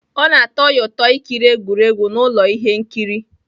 Ọ na-atọ ya ụtọ ikiri egwuregwu na ụlọ ihe nkiri